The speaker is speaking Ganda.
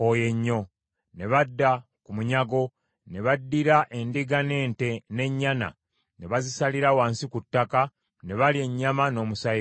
Ne badda ku munyago, ne baddira endiga n’ente n’ennyana ne bazisalira wansi ku ttaka ne balya ennyama n’omusaayi gwayo.